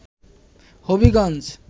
Habiganj